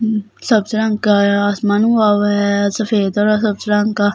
अम्म सब्ज़ रंग का आया है आसमान हुआ वा है सफेद और रंग का इसमे--